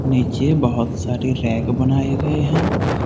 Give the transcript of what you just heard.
नीचे बहोत सारे रैक बनाए गए हैं।